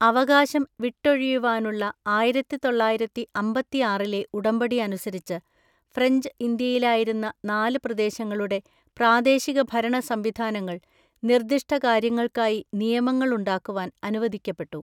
അവകാശം വിട്ടൊഴിയുവാനുള്ള ആയിരത്തിതൊള്ളയിരത്തി അമ്പതിആറിലെ ഉടമ്പടി അനുസരിച്ച്, ഫ്രഞ്ച് ഇന്ത്യയിലായിരുന്ന നാല് പ്രദേശങ്ങളുടെ പ്രാദേശികഭരണസംവിധാനങ്ങൾ, നിർദ്ദിഷ്ടകാര്യങ്ങൾക്കായി നിയമങ്ങൾ ഉണ്ടാക്കുവാൻ അനുവദിക്കപ്പെട്ടു.